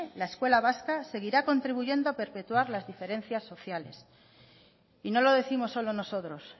la escuela vasca seguirá contribuyendo a perpetuar las diferencias sociales y no lo décimos solo nosotros